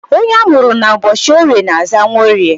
Onye amụrụ ụbọchị Orie na-aza Nworie